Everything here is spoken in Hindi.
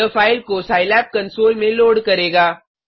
यह फाइल को सिलाब कंसोल में लोड करेगा